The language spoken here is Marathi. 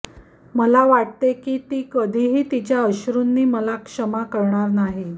मला वाटते की ती कधीही तिच्या अश्रुंना मला क्षमा करणार नाही